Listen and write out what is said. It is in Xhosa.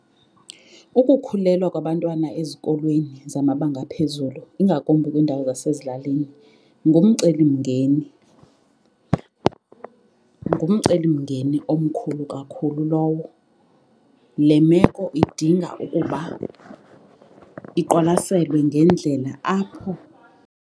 Ukukhulelwa kwabantwana ezikolweni zamabanga aphezulu ingakumbi kwindawo zasezilalini ngumcelimngeni ngumcelimngeni omkhulu kakhulu lowo. Le meko idinga ukuba iqwalaselwe ngendlela apho.